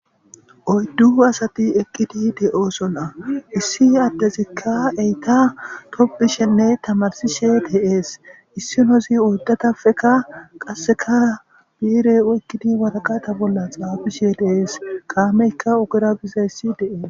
oyddu asati eqqidi de7oosna issi addezikka eta tobbishenne tamarsishe de'ees issinosi oddatafekka qasseka biire wekkidi waraqata bolla xaabishe deees kaameykka ogera bizayissi de7ees.